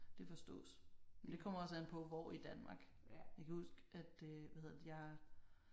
Det forstås. Men det kommer også an på hvor i Danmark. Jeg kan huske at øh hvad hedder det jeg